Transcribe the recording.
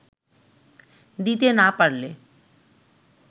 দিতে না পারলে